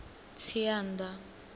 tsianda